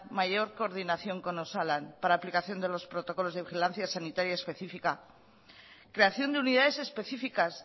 mayor coordinación con osalan para aplicación de los protocolos de vigilancia sanitaria específica creación de unidades específicas